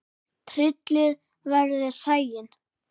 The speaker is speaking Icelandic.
Tryllir veðrið sæinn.